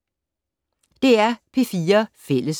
DR P4 Fælles